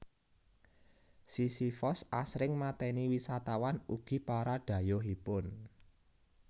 Sisifos asring mateni wisatawan ugi para dhayohipun